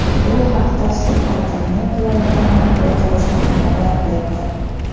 Bu haqda Surxondaryo viloyati matbuot xizmati xabar berdi .